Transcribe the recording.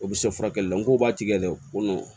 O bɛ se furakɛli la n k'o b'a tigɛ dɛ ko nɔn